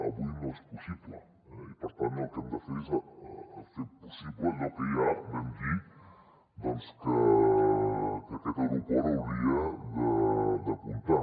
avui no és possible eh i per tant el que hem de fer és fer possible allò que ja vam dir doncs que aquest aeroport hauria d’apuntar